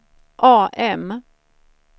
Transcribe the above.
AM